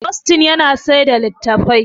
Austin yana saida latattafai